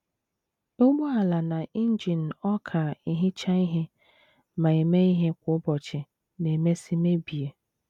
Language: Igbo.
Ụgbọala na injin ọka ehicha ihe ma eme ihe kwa ụbọchị na - emesị mebie.